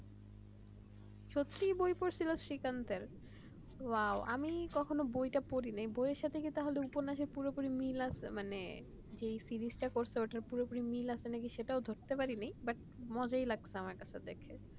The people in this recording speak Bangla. সত্যি বই পড়েছিল শ্রীকান্তের wow আমি কখনো বইটা পড়িনি বইটার সঙ্গে কি উপন্যাসের পুরোপুরি মিল আছে মানে যেই series টা করছে সেটা কি পুরোপুরি মিল আছে সেটাও ধরতে পারিনি মজাও লাগছে দেখে